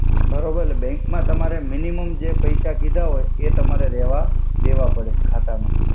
બરોબર એટ્લે બેંક મા તમારે મિનિમોમ જે પૈસા કીધા હોય એ તમારે દેવા પડે ખાતામા.